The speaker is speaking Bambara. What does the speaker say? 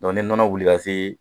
ni nɔnɔ wuli ka se